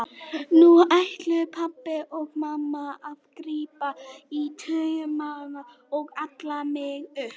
Nú ætluðu pabbi og mamma að grípa í taumana og ala mig upp.